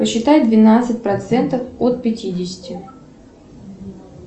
посчитай двенадцать процентов от пятидесяти